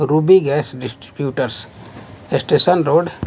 Ruby gas distributors station road --